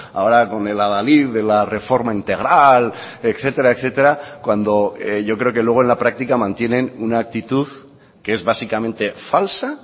ahora con el adalid de la reforma integral etcétera etcétera cuando yo creo que luego en la práctica mantienen una actitud que es básicamente falsa